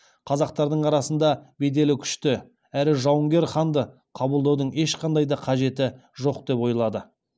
қазақтардың арасында беделі күшті әрі жауынгер ханды қабылдаудың ешқандай да қажеті жоқ деп ойлады